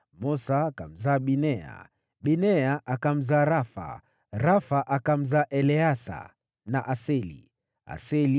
Mosa akamzaa Binea, Binea akamzaa Rafa, na mwanawe huyo ni Eleasa, na mwanawe huyo ni Aseli.